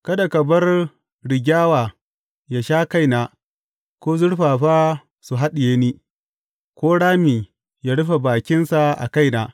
Kada ka bar rigyawa yă sha kaina ko zurfafa su haɗiye ni ko rami yă rufe bakinsa a kaina.